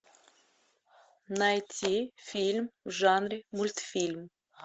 найти фильм в жанре мультфильм